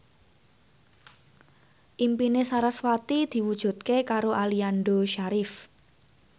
impine sarasvati diwujudke karo Aliando Syarif